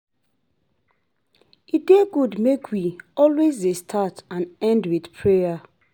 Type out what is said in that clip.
E dey good make we, always dey start and end with prayer